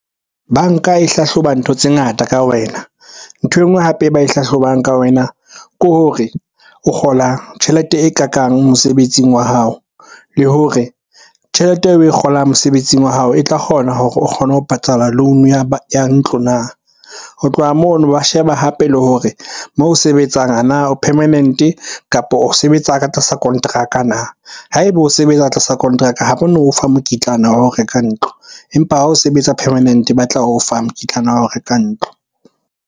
Banka e hlahloba ntho tse ngata ka wena. Nthwe e nngwe hape e ba e hlahlobang ka wena ke hore o kgolang tjhelete e kakang mosebetsing wa hao. Le hore tjhelete eo o kgolang mosebetsing wa hao, e tla kgona hore o kgone ho patala loan ya ntlo na? Ho tloha mono, ba sheba hape le hore moo o sebetsang a na o permanent-e, kapo o sebetsa ka tlasa konteraka na? Ha ebe o sebetsa tlasa kontraka ha ba no fa mokitlana wa ho reka ntlo, empa ha o sebetsa permanent-e ba tla o fa mokitlane wa ho reka ntlo.